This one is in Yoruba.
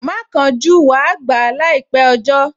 Má kánjú, wàá gbà á láìpẹ́ ọjọ́